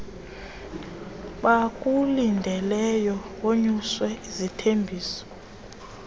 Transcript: bakulindeleyo wonyuswe zizithembiso